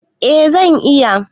Eh zan iya.